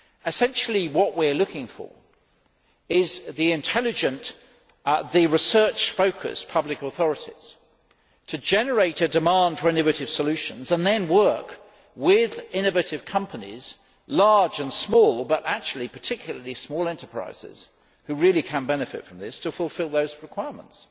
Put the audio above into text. Essentially, what we are looking for are intelligent, research focused public authorities to generate a demand for innovative solutions and then work with innovative companies large and small but particularly small enterprises who really can benefit from this to fulfil those requirements.